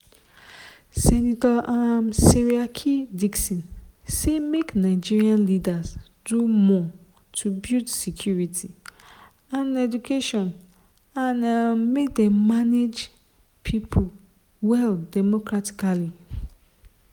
senator um seriake dickson say make nigeria leaders do more to build security and education and um make dem manage pipo well democratically.